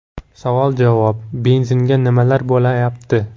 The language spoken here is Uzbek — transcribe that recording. Savol-javob: Benzinga nimalar bo‘layapti?.